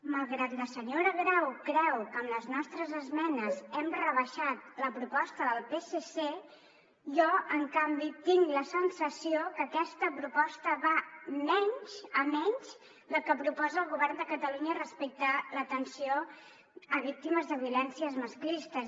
malgrat que la senyora grau creu que amb les nostres esmenes hem rebaixat la proposta del psc jo en canvi tinc la sensació que aquesta proposta va menys a menys del que proposa el govern de catalunya respecte a l’atenció a víctimes de violències masclistes